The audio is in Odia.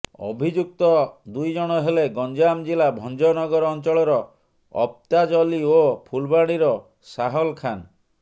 ଅଭିଯୁକ୍ତ ଦୁଇ ଜଣ ହେଲେ ଗଞ୍ଜାମ ଜିଲ୍ଲା ଭଞ୍ଜନଗର ଅଞ୍ଚଳର ଅଫତାଜ ଅଲି ଓ ଫୁଲବାଣୀର ସାହଲ ଖାନ